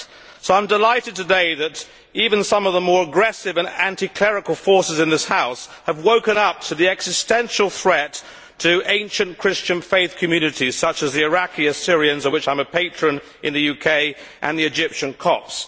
So I am delighted today that even some of the more aggressive and anti clerical forces in this House have woken up to the existential threat to ancient Christian faith communities such as the Iraqi Assyrians, of which I am a patron in the UK, and the Egyptian Copts.